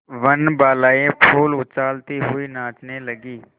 वनबालाएँ फूल उछालती हुई नाचने लगी